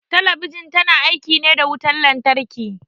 Talabijin ta na aiki ne da wutan lantarki